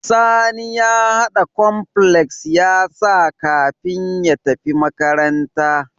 Sani ya hada cornflakes yasa kafin ya tafi makaranta